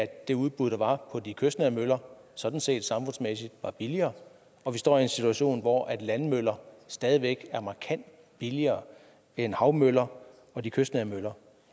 det udbud der var på de kystnære møller sådan set samfundsmæssigt var billigere og vi står i en situation hvor landmøller stadig væk er markant billigere end havmøller og de kystnære møller